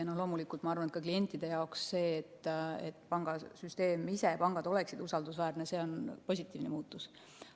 Ja loomulikult ma arvan, et klientide jaoks see, et pangasüsteem ja pangad oleksid usaldusväärsed, on positiivne muutus.